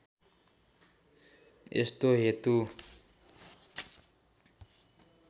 यस्तो हेतु